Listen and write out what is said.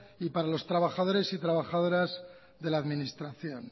y para los trabajadores y trabajadoras de la administración